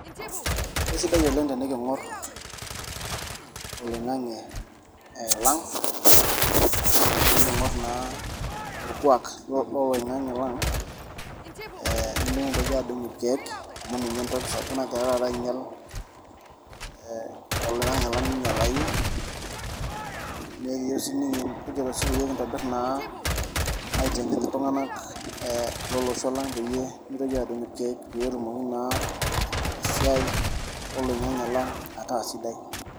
Kesidai oleng' teniking'or oloing'ang'e lang' niking'or naa orkuak loloing'ang'e lang'. Nemikintoki adung' irkeek amu ninye entoki sapuk nagira taata ainyal olang'ang'e lang' minyalayu . Nekiyeu sii nikijito pikintobirr naa aiteng'en iltung'ana lolosho lang' peyie mitoki adung' irkeek petumoki naa esiai oloing'ang'e lang' ataa sidai.